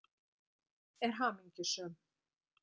Hún er hamingjusöm.